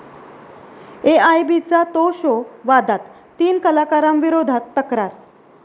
एआयबी'चा 'तो' शो वादात, तीन कलाकारांविरोधात तक्रार